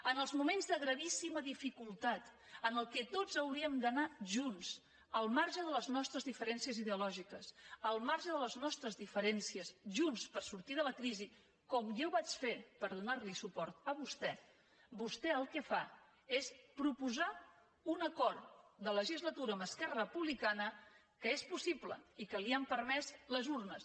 en els moments de gravíssima dificultat en què tots hauríem d’anar junts al marge de les nostres diferències ideològiques al marge de les nostres diferències junts per sortir de la crisi com jo vaig fer per donar li suport a vostè vostè el que fa és proposar un acord de legislatura amb esquerra republicana que és possible i que li han permès les urnes